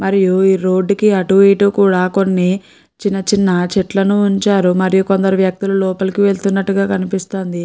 మరియు ఈ రోడ్డు కి అటు ఇటు కూడా కొన్ని చిన్న చిన్న చెట్లను ఉంచారు. మరియు కొందరు వ్యక్తులు లోపలికి వెళ్తున్నట్టుగా కనిపిస్తోంది.